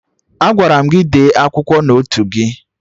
Agwara m gị dee akwụkwọ n'otu gị!